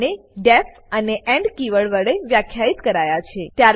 તે બંને ડીઇએફ અને એન્ડ કીવર્ડો વડે વ્યાખ્યિત કરાયા છે